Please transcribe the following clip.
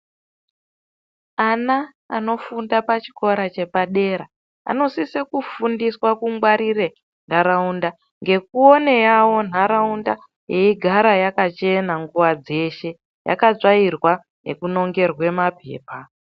Ana anofunda pa chikora chepa dera anosise kufundiswa ku ngwarire nharaunda ngeku one yawo nharaunda yei gara yakachena nguva dzeshe yaka tsvairwa neku nongerwe mapepa.